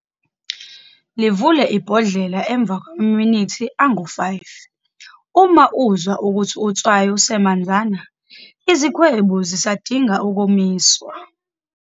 Livule ibhodlela emva kwamaminithi angu-5, uma uzwa ukuthi utswayi usemanzana, izikhwebu zisadinga ukomiswa.